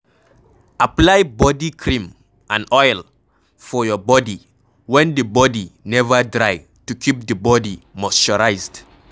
Apply body cream and oil for your bodi when di bodi neva dry to keep di bodi moisturised